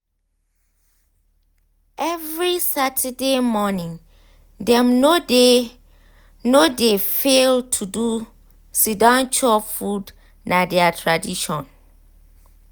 every saturday morning dem no dey no dey fail to do siddon chop food na their tradition.